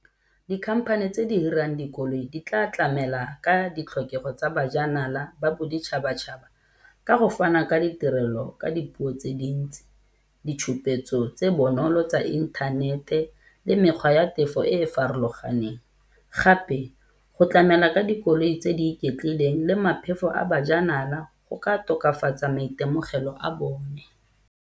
Di-company tse di hirang dikoloi di tla tlamela ka ditlhokego tsa bajanala ba boditšhabatšhaba ka go fana ka ditirelo ka dipuo tse dintsi. Ditšhupetso tse bonolo tsa inthanete le mekgwa ya tefo e e farologaneng. Gape go tlamela ka dikoloi tse di iketlileng le a bajanala go ka tokafatsa maitemogelo a bone.